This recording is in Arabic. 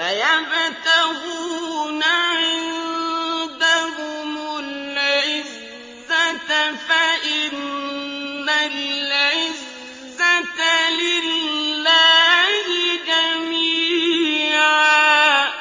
أَيَبْتَغُونَ عِندَهُمُ الْعِزَّةَ فَإِنَّ الْعِزَّةَ لِلَّهِ جَمِيعًا